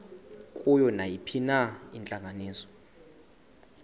kuyo nayiphina intlanganiso